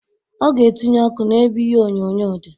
Ọ ga etinye ọkụ n'ebe ihe onyonyo dị.